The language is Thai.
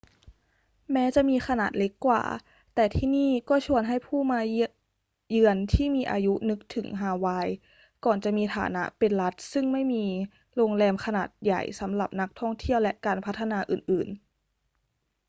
แม้จะมีขนาดเล็กกว่า แต่ที่นี่ก็ชวนให้ผู้มาเยือนที่มีอายุนึกถึงฮาวายก่อนจะมีฐานะเป็นรัฐซึ่งไม่มีโรงแรมขนาดใหญ่สำหรับนักท่องเที่ยวและการพัฒนาอื่น ๆ